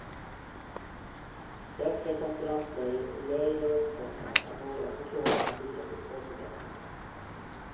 Bättre konkurrensläge och lägre räntekostnader är några förklaringar till resultatförbättringen.